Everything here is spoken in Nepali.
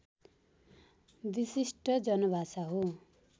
विशिष्ट जनभाषा हो